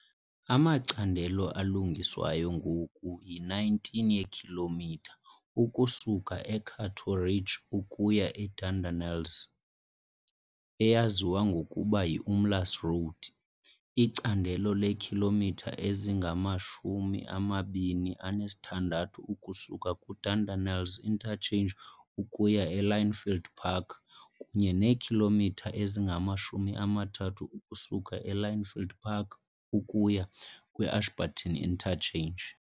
Amacandelo alungiswayo ngoku yi-19 yeekhilomitha ukusuka e-Cato Ridge ukuya e-Dardanelles, eyaziwa ngokuba yi-Umlaas Road icandelo leekhilomitha ezingama-26.6 ukusuka ku-Dardanelles Interchange ukuya e-Lynnfield Park kunye neekhilomitha ezingama-30 ukusuka e-Lynnfield Park ukuya kwi-Ashburton Interchange.